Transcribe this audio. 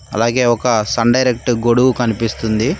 అలాగే ఒక sun direct గొడుగు కనిపిస్తుంది.